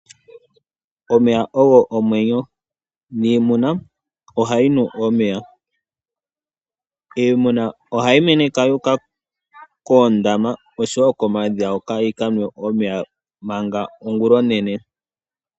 Omeya ogo omwenyo niimuna ohayi nu omeya. Iimuna ohayi meneka yuka koondama nokomadhiya hoka yikanwe omeya manga ongula onene.